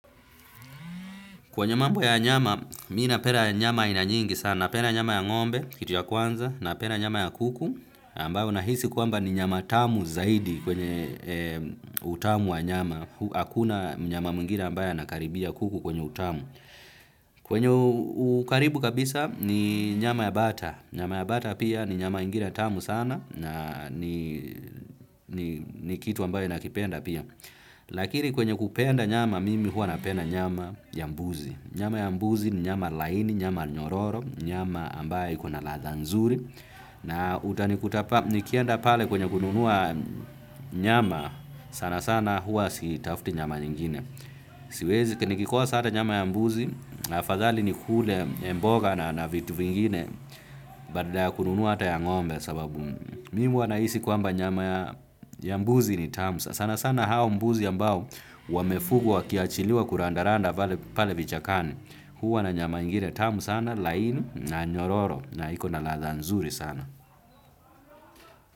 Kwenye mambo ya nyama, mi napenda nyama iana nyingi sana napenda nyama ya ng'ombe, kitu ya kwanza, napenda nyama ya kuku. Ambayo nahisi kwamba ni nyama tamu zaidi kwenye utamu wa nyama. Hu hakuna mnyama mwingine ambaye anakaribia kuku kwenye utamu. Kwenye ukaribu kabisa ni nyama ya bata. Nyama ya bata pia ni nyama ingine tamu sana na ni ni ni kitu ambayo nakipenda pia. Lakiri kwenye kupenda nyama mimi huwa napenda nyama ya mbuzi. Nyama ya mbuzi ni nyama laini, nyama nyororo, nyama ambayo ikona ladha nzuri. Na utanikutapa, nikienda pale kwenye kununua nyama, sana sana huwa sitafti nyama nyingine. Siwezi, ki nikikosa ata nyama ya mbuzi, afadhali nikule mboga na na vitu vingine, badala ya kununua ata ya ng'ombe sababu. Mimi huwa nahisi kwamba nyama ya ya mbuzi ni tamu sasa. Sana sana hao mbuzi ambao wamefugwa wakiachiliwa kurandaranda vale pale vichakani. Huwa na nyama ingire tamu sana laini na nyororo na iko na ladha nzuri sana.